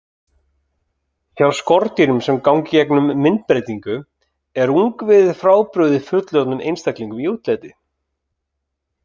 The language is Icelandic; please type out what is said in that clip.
Hjá skordýrum sem ganga í gegnum myndbreytingu er ungviðið frábrugðið fullorðnum einstaklingum í útliti.